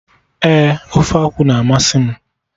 Ee, ofe akwụ na amasị m